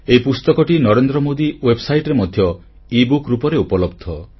ଏହି ପୁସ୍ତକଟି ନରେନ୍ଦ୍ର ମୋଦୀ ୱେବସାଇଟରେ ମଧ୍ୟ ଇବୁକ୍ ଭାବେ ଉପଲବ୍ଧ